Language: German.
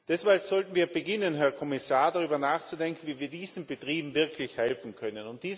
Deshalb sollten wir beginnen, Herr Kommissar, darüber nachzudenken, wie wir diesen Betrieben wirklich helfen können.